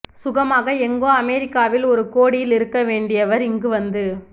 சுகமாக எங்கோ அமெரிக்காவில் ஒரு கோடியில் இருக்க வேண்டியவர் இங்கு வந்து